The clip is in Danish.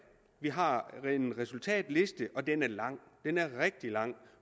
vi har en resultatliste og den er lang den er rigtig lang